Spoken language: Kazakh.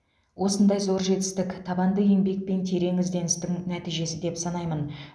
осындай зор жетістік табанды еңбек пен терең ізденістің нәтижесі деп санаймын